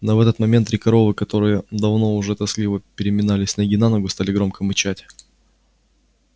но в этот момент три коровы которые давно уже тоскливо переминались с ноги на ногу стали громко мычать